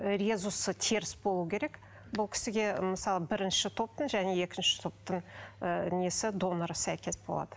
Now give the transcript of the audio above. резусы теріс болуы керек бұл кісіге мысалы бірінші топтың және екінші топтың ы несі доноры сәйкес болады